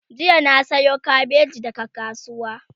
jiya na Sayo kabeji daga kasuwa